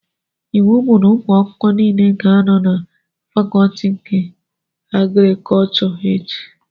Iwu bụ na ụmụ akwụkwọ nile ga-anọ na fakọtị nke agrikọchọ echi!